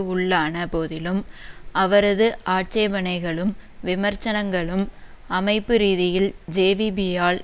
உள்ளான போதிலும் அவரது ஆட்சேபனைகளும் விமர்சனங்களும் அமைப்பு ரீதியில் ஜேவிபியால்